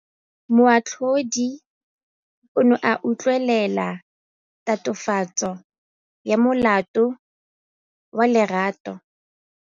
Moatlhodi o ne a utlwelela tatofatsô ya molato wa Lerato.